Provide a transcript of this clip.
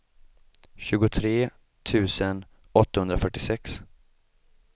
tjugotre tusen åttahundrafyrtiosex